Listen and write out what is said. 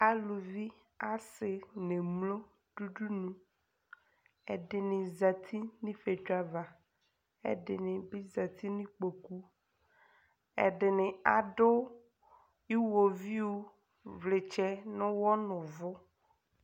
Aluvi , asɩ n'emlo dʋ udunu : ɛdɩnɩ zati n'ifiotso ava, ɛdɩnɩ bɩ zati n'ikpoku , ɛdɩnɩ adʋ iɣoviu vlɩtsɛ n'ʋɣɔ n'ʋvʋ